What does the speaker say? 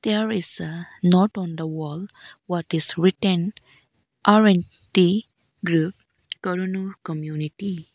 there is a note on the wall what is written r and t group koroonu community.